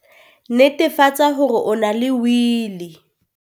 Netefatsa hore o na le Wili!